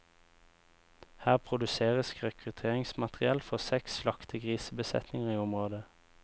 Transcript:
Her produseres rekruteringsmateriell for seks slaktegrisbesetninger i området.